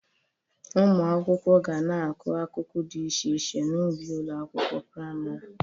Ụmụ akwụkwọ ga na-akụ akụkụ dị iche iche n'ubi ụlọ akwụkwọ prịmarị